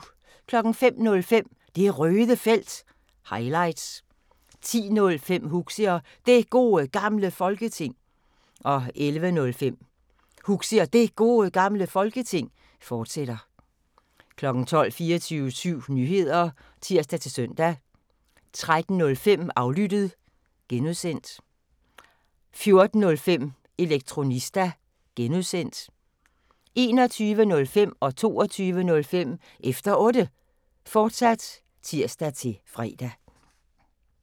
05:05: Det Røde Felt – highlights 10:05: Huxi og Det Gode Gamle Folketing 11:05: Huxi og Det Gode Gamle Folketing, fortsat 12:00: 24syv Nyheder (tir-søn) 13:05: Aflyttet (G) 14:05: Elektronista (G) 21:05: Efter Otte, fortsat (tir-fre) 22:05: Efter Otte, fortsat (tir-fre)